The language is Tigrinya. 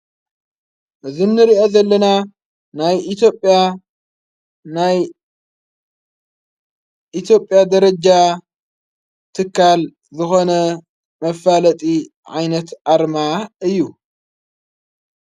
እዝ ንርአ ዘለና ናይ ኢትዬዽያ ናይ ኢቲዬጴያ ደረጃ ትካል ዝኾነ መፋለጢ ዓይነት ኣርማ እዩ።